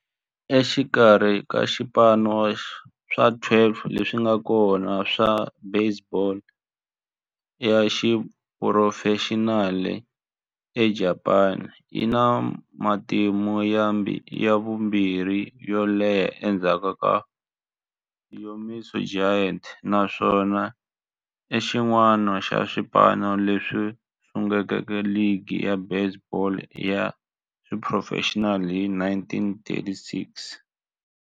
Exikarhi ka swipano swa 12 leswi nga kona swa baseball ya xiphurofexinali eJapani, yi na matimu ya vumbirhi yo leha endzhaku ka Yomiuri Giants, naswona i xin'wana xa swipano leswi sunguleke ligi ya baseball ya xiphurofexinali hi 1936.